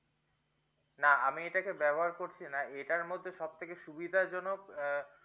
না আমি এটা কে ব্যবহার করছিনা এটার মধ্যে সব থেকে সুবিধা জনক আহ